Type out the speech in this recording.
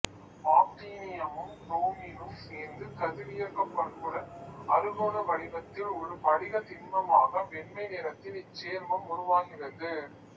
ஆக்டினியமும் புரோமினும் சேர்ந்து கதிரியக்கப் பண்புடன் அறுகோண வடிவத்தில் ஒரு படிகத் திண்மமாக வெண்மை நிறத்தில் இச்சேர்மம் உருவாகிறது